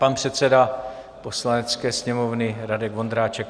Pan předseda Poslanecké sněmovny Radek Vondráček.